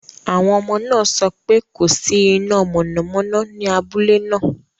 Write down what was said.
Àwọn ọmọ náà sọ pé kò sí iná mọ̀nàmọ́ná ní abúlé náà.